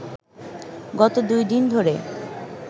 গত দুই দিন ধরে